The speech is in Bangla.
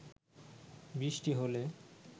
বৃষ্টি হলে